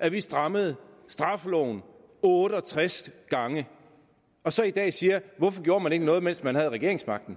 at vi strammede straffeloven otte og tres gange og så i dag siger hvorfor gjorde man ikke noget mens man havde regeringsmagten